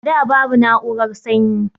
A da babu na'urar sanyi